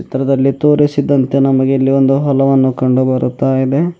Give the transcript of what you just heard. ಚಿತ್ರದಲ್ಲಿ ತೋರಿಸಿದಂತೆ ನಮಗೆ ಇಲ್ಲಿ ಒಂದು ಹಲ್ವಾನು ಕಂಡು ಬರುತ್ತಾ ಇದೆ.